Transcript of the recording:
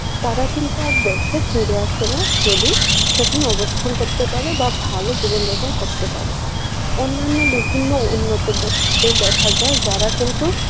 তারা কিন্তু আর দেশে ফিরে আসে না যদি সেখানে অবস্থান করতে পারে বা ভালো জীবনযাপন করতে পারে, অন্যান্য বিভিন্ন উন্নত দেশকে দেখা যায় যারা কিন্তু